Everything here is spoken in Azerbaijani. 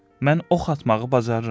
Mən ox atmağı bacarıram.